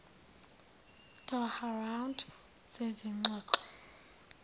doha round zezingxoxo